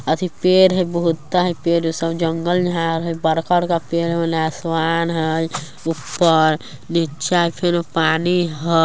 अथी पेड़ हई बहुते हई पेड़ इ सब जंगल झाड हई बड़का-बड़का पेड़ ओने आसमान हई ऊपर निचा फिर पानी हई |